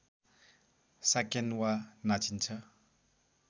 साकेन्वा नाचिन्छ